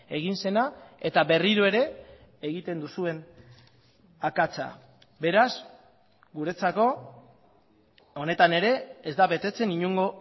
egin zena eta berriro ere egiten duzuen akatsa beraz guretzako honetan ere ez da betetzen inongo